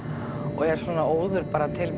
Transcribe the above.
og er svona óður